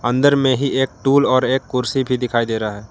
अंदर में ही एक टूल और एक कुर्सी पर दिखाई दे रहा है।